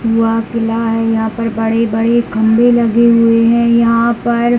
यहाँ पर लाल यहाँ पर बड़े बड़े खम्बे लगे हुए है यहाँ पर--